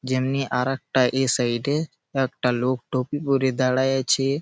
যেমনি আর একটা এই সাইড -এ একটা লোক টুপি পড়ে দাঁড়ায় আছে।